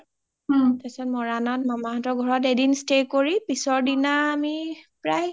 তাৰ পিছাত মামা হতৰ ঘৰত এদিন stay কৰি পিছৰ দিনা আমি প্ৰায়